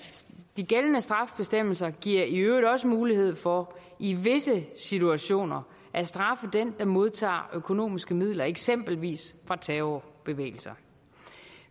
de gældende straffebestemmelser giver i øvrigt også mulighed for i visse situationer at straffe den der modtager økonomiske midler fra eksempelvis terrorbevægelser